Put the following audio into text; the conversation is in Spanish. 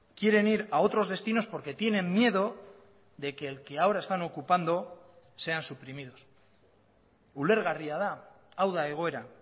quieren ir a otros destinos porque tienen miedo de que el que ahora están ocupando sean suprimidos ulergarria da hau da egoera